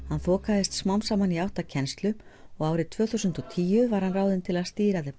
hann þokaðist smám saman í átt að kennslu og árið tvö þúsund og tíu var hann ráðinn til að stýra